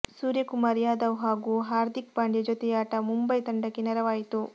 ಸೂರ್ಯಕುಮಾರ್ ಯಾದವ್ ಹಾಗೂ ಹಾರ್ದಿಕ್ ಪಾಂಡ್ಯ ಜೊತೆಯಾಟ ಮುಂಬೈ ತಂಡಕ್ಕೆ ನೆರವಾಯಿತು